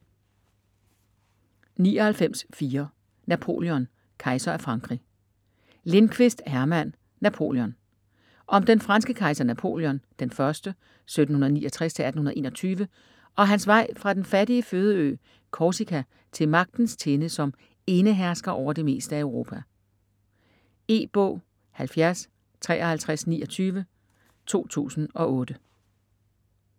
99.4 Napoléon: kejser af Frankrig Lindqvist, Herman: Napoleon Om den franske kejser Napoléon I (1769-1821) og hans vej fra den fattige fødeø Korsika til magtens tinde som enehersker over det meste af Europa. E-bog 705329 2008.